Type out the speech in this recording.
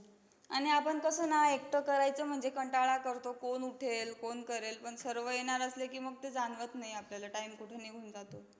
आणि आपण कसं ना, एकटं करायचं म्हणजे कंटाळा करतो. कोण उठेल, कोण करेल. पण सर्व येणार असले की, मग ते जाणवत नाही आपल्याला time कुठं निघून जातो.